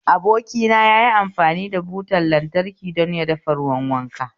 Abokina yayi amfani da butar lantraki don ya dafa ruwan wanka